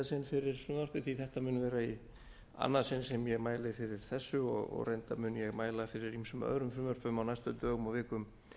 sinn fyrir frumvarpi því þetta mun vera í annað sinn sem ég mæli fyrir þessu og reyndar mun ég mæla fyrir ýmsum öðrum frumvörpum á næstu dögum og vikum